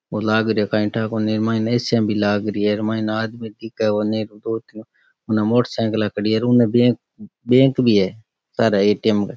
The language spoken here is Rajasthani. बो लाग रहो काई ठा कोनी माइन ए.सी. या भी लागरि है दो तीन मोटरसाइकिल खड़ी है और उने बैंक बैंक भी है सारे ए.टी.एम. क।